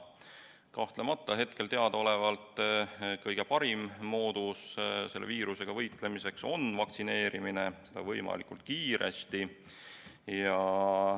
Kahtlemata on hetkel teadaolevalt kõige parem moodus selle viirusega võitlemiseks vaktsineerimine, seda võimalikult kiiresti.